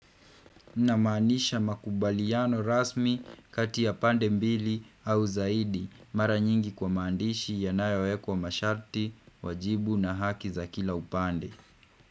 Na maanisha makubaliano rasmi kati ya pande mbili au zaidi. Mara nyingi kwa maandishi yanayowekwa masharti, wajibu na haki za kila upande.